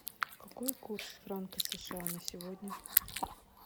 какой курс франка сша на сегодня